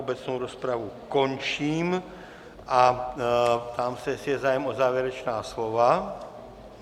Obecnou rozpravu končím a ptám se, jestli je zájem o závěrečná slova.